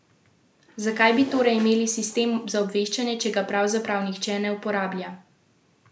Zakaj bi torej imeli sistem za obveščanje, če ga pravzaprav nihče ne uporablja?